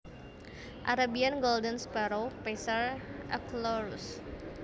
Arabian Golden Sparrow Passer euchlorus